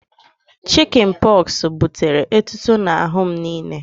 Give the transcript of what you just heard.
Chịkịn pọxụ butere etuto n'ahụ m niile